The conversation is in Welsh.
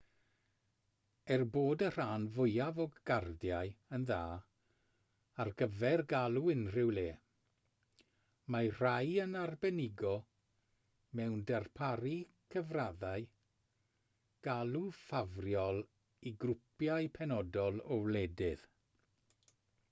er bod y rhan fwyaf o gardiau yn dda ar gyfer galw unrhyw le mae rhai yn arbenigo mewn darparu cyfraddau galw ffafriol i grwpiau penodol o wledydd